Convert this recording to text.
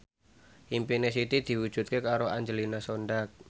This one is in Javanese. impine Siti diwujudke karo Angelina Sondakh